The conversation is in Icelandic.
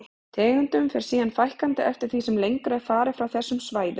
Tegundum fer síðan fækkandi eftir því sem lengra er farið frá þessum svæðum.